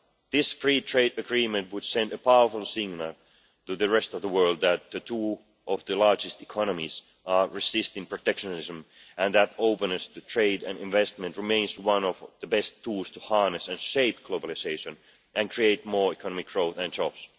This free trade agreement would send a powerful signal to the rest of the world that two of the largest economies are resisting protectionism, and that openness to trade and investment remains one of the best tools to harness and shape globalisation and create more economic growth and jobs.